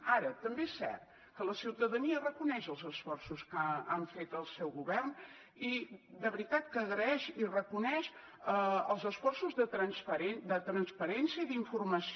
ara també és cert que la ciutadania reconeix els esforços que ha fet el seu govern i de veritat que agraeix i reconeix els esforços de transparència i d’informació